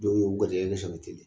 Dɔw y'o garisɛgɛ